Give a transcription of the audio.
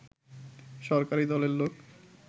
সরকারি দলের লোক